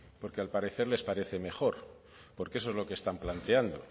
porque al parecer les parece mejor porque eso es lo que están planteando